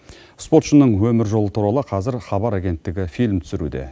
спортшының өмір жолы туралы қазір хабар агенттігі фильм түсіруде